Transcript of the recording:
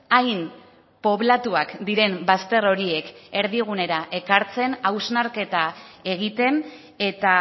hain poblatuak diren bazter horiek erdigunera ekartzen hausnarketa egiten eta